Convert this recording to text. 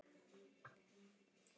Arnold sá lengra en aðrir.